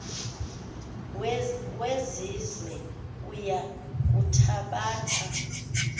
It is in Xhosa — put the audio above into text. wesizwe uya kuthabatha